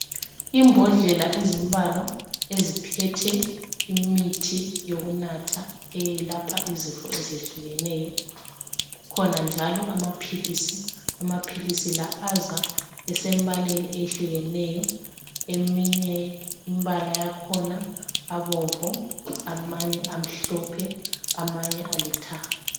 Imbodlela ezimbalwa eziphethe imithi yokunatha eyelapha izifo ezehlukeneyo kukhona njalo amaphilisi. Amaphilisi la aza esembaleni ehlukeneyo, eminye imbala yakhona abomvu, amanye amhlophe, amanye alithanga.